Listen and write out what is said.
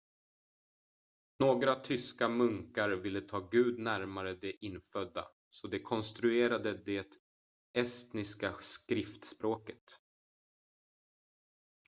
några tyska munkar ville ta gud närmare de infödda så de konstruerade det estniska skriftspråket